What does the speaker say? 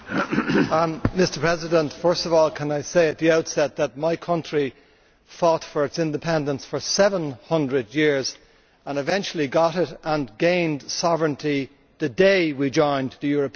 Mr President, first of all can I say at the outset that my country fought for its independence for 700 years and eventually got it and gained sovereignty the day we joined the European Union.